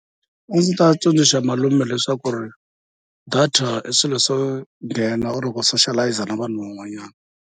A ndzi ta tsundzuxa malume leswaku data i swilo swo nghena or ku socialize na vanhu van'wanyana.